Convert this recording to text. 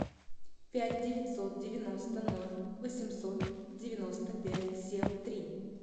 пять девятьсот девяносто ноль восемьсот девяносто пять семь три